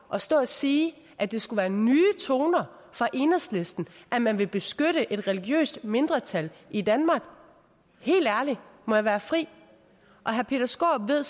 at stå og sige at det skulle være nye toner fra enhedslisten at man vil beskytte et religiøst mindretal i danmark helt ærligt må jeg være fri herre peter skaarup ved